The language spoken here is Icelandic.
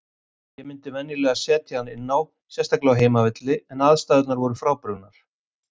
Ég myndi venjulega setja hann inná, sérstaklega á heimavelli, en aðstæðurnar voru frábrugðnar.